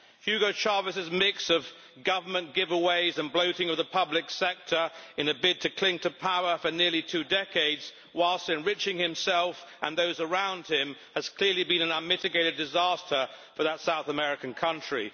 Hugo Chávez's mix of government giveaways and bloating of the public sector in a bid to cling to power for nearly two decades, whilst enriching himself and those around him, has clearly been an unmitigated disaster for that South American country.